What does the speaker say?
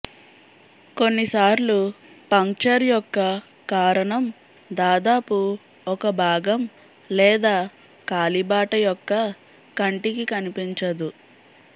కొన్నిసార్లు పంక్చర్ యొక్క కారణం దాదాపు ఒక భాగం లేదా కాలిబాట యొక్క కంటికి కనిపించదు